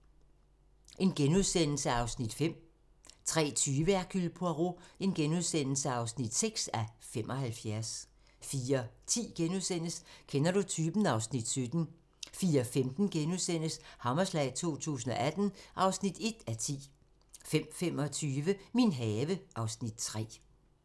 02:30: Hercule Poirot (5:75)* 03:20: Hercule Poirot (6:75)* 04:10: Kender du typen? (Afs. 17)* 04:15: Hammerslag 2018 (1:10)* 05:25: Min have (Afs. 3)